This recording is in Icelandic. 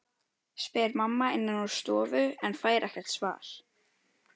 spyr mamma innan úr stofu en fær ekkert svar.